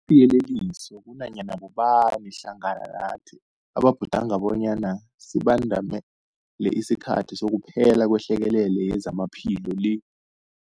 Kusiyeleliso kunanyana bobani hlangana nathi ababhudanga bonyana sibandamele isikhathi sokuphela kwehlekelele yezamaphilo le.